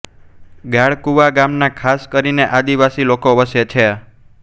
ગાળકુવા ગામમાં ખાસ કરીને આદિવાસી લોકો વસે છે